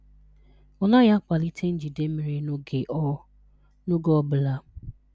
Ọ naghị akwalite njide mmiri n'oge ọ n'oge ọ bụla.